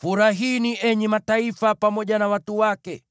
Furahini, enyi mataifa, pamoja na watu wake,